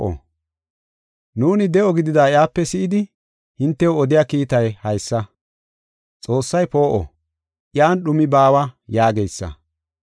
Nuuni de7o gidida iyape si7idi, hintew odiya kiitay haysa: “Xoossay poo7o; iyan dhumi baawa” yaageysa.